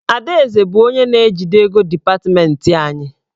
Adaeze bụ onye na-ejide ego dipatmentị anyị.